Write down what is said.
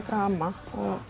drama